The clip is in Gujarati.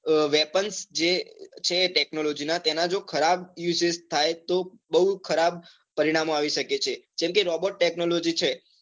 Weapons જે છે technology ના તેના જો ખરાબ usage થાય તો બહુ ખરાબ પરિણામો આવી શકે છે જેમ કે robot technology છે